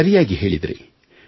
ಸರಿಯಾಗಿ ಹೇಳಿದಿರಿ